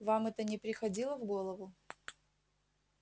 вам это не приходило в голову